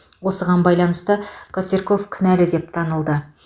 осыған байланысты косырьков кінәлі деп танылды